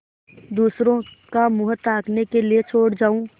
दूसरों का मुँह ताकने के लिए छोड़ जाऊँ